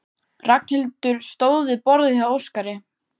Ragnhildur stóð við borðið hjá Óskari.